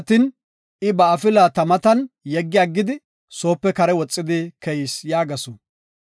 I ba afila ta matan yeggi aggidi, soope kare woxidi keyis” yaagasu.